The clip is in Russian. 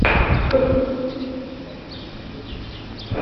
похитители велосипедов включи